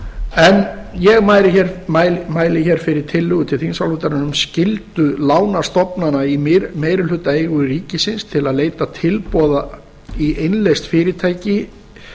en ég mæli hér fyrir tillögu til þingsályktunar um um skyldu lánastofnana í meirihlutaeigu ríkisins til að leita tilboða í innleyst fyrirtæki